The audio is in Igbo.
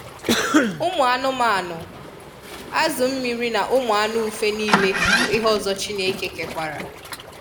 Ụmụ anụmanụ, azụ mmiri na ụmụ anụ ufe nile bụ ihe ọzọ chineke kekwara.